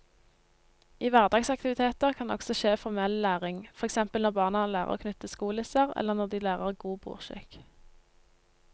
I hverdagsaktiviteter kan det også skje formell læring, for eksempel når barna lærer å knyte skolisser eller når de lærer god bordskikk.